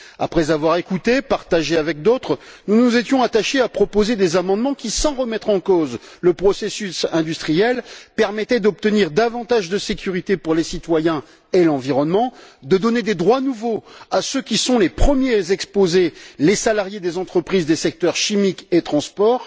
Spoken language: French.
Après avoir écouté, partagé avec d'autres, nous nous étions attachés à proposer des amendements qui, sans remettre en cause le processus industriel, permettaient d'obtenir davantage de sécurité pour les citoyens et l'environnement, de donner des droits nouveaux à ceux qui sont les premiers exposés les salariés des entreprises des secteurs chimiques et du transport.